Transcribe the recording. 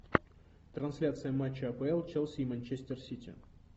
трансляция матча апл челси и манчестер сити